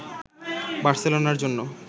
বার্সেলোনার জন্য